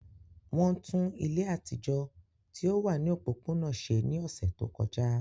Wọn tun ile atijọ ti o wa ni opopona ṣe ni ọsẹ to kọja.